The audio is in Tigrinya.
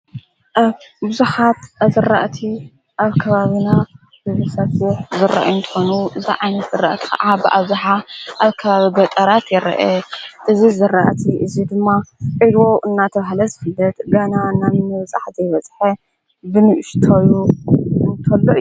ኣብ ቡዙሓት እዘርእቲ ኣብ ከባብና ብዘሳቲሕ ዘረአንተኑ ዝዓይን ሠርአት ኸዓ ብኣብዝኃ ኣብከባብ ገጠራት የርአ። እዚ ዘረእቲ እዙይ ድማ ዒልዎ እናተብሕለ ዘፍለጥት ገና እናበጻሕ ዘይበጽሐ ብንእሽተዩ እንተሎ እዩ።